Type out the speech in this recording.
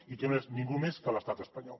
i que no és ningú més que l’estat espanyol